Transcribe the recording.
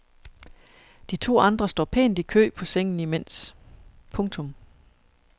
De to andre står pænt i kø på sengen imens. punktum